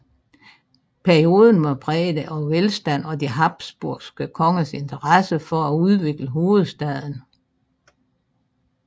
Perioden var præget af velstand og de habsburgske kongers interesse for at udvikle hovedstaden